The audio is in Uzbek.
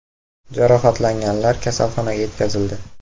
Jarohatlanganlar kasalxonaga yetkazildi.